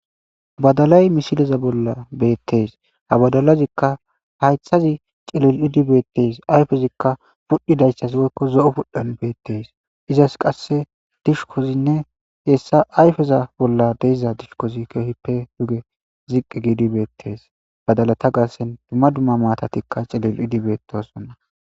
Badalay mishileza bolla beettees ha badalazikka haythazi cilil idibeettes ayfezikka pudhidayssas woykko zo'o pudhan beettees izas qasse dishukkozinne hessa ayfeza bolla deyza dishukkozi keehippe duge ziqqi giidi beettees badala ta gaassen dumma dumma maatatikka cilil idibeettossonna.